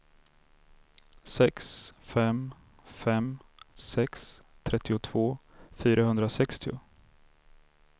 sex fem fem sex trettiotvå fyrahundrasextio